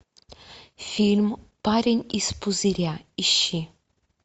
фильм парень из пузыря ищи